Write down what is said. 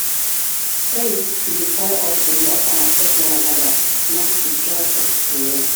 faith should inspire us to love love and accept one another not to judge or discriminate.